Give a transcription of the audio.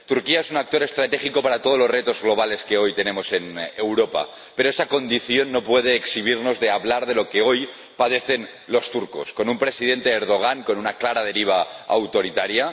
Turquía es un actor estratégico para todos los retos globales que hoy tenemos en Europa, pero esa condición no puede eximirnos de hablar de lo que hoy padecen los turcos con un presidente —Erdoğan— con una clara deriva autoritaria